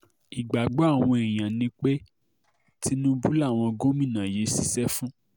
ìgbàgbọ́ àwọn èèyàn ni pé tinubu làwọn gómìnà yìí ṣiṣẹ́ fún